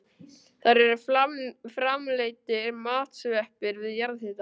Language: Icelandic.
Þar eru framleiddir matsveppir við jarðhita.